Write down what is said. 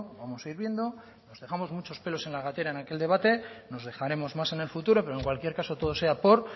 vamos a ir viendo nos dejamos muchos pelos en la gatera en aquel debate nos dejaremos más en el futuro pero en cualquier caso todo sea por